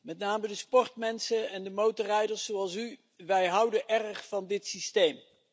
Met name de sportmensen en de motorrijders, zoals u, wij houden erg van dit systeem.